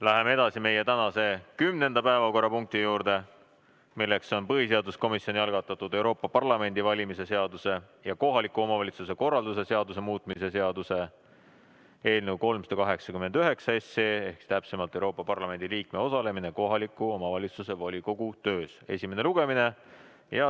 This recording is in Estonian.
Läheme edasi meie tänase 10. päevakorrapunkti juurde, milleks on põhiseaduskomisjoni algatatud Euroopa Parlamendi valimise seaduse ja kohaliku omavalitsuse korralduse seaduse muutmise seaduse eelnõu 389 esimene lugemine.